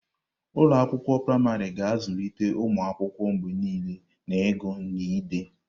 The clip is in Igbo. Ụlọ akwụkwọ praịmarị ga-azụlite ụmụ akwụkwọ mgbe niile n'ịgụ na ide.